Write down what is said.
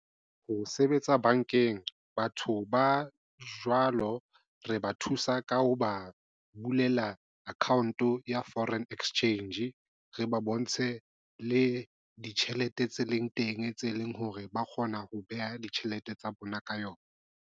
Ho sebetsa bankeng, batho ba jwalo re ba thusa ka ho ba bulela account ya foreign exchange re ba bontshe le ditjhelete tse leng teng tse leng hore ba kgona ho beha ditjhelete tsa bona ka yona.